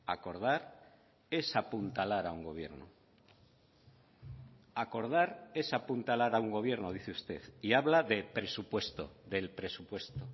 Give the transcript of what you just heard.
acordar es apuntalar a un gobierno acordar es apuntalar a un gobierno dice usted y habla de presupuesto del presupuesto